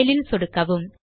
file ல் சொடுக்கவும்